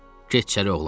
Keç içəri, oğlum.